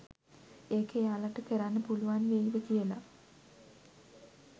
ඒක එයාලට කරන්න පුළුවන් වෙයිද කියල